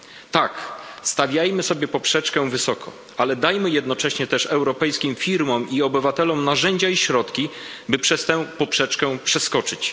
Tak, stawiajmy sobie poprzeczkę wysoko, ale dajmy jednocześnie też europejskim firmom i obywatelom narzędzia i środki, by tę poprzeczkę przeskoczyć.